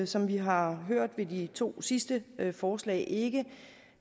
som vi har hørt med de to sidste forslag ikke